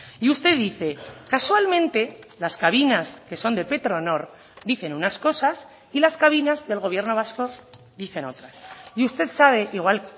y usted dice casualmente las cabinas que son de petronor dicen unas cosas y las cabinas del gobierno vasco dicen otra y usted sabe igual